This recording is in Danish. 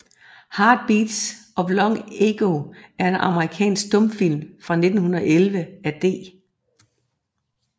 Heart Beats of Long Ago er en amerikansk stumfilm fra 1911 af D